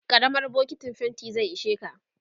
karamar bokintin fainti zai isheka